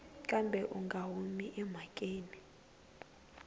kambe u nga humi emhakeni